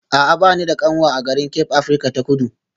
A'a ba ni da kanwa a garin Cape Afirka ta Kudu